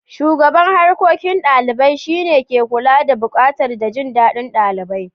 Shugaban Harkokin Dalibai shine ke kula da bukatun da jin dadin dalibai.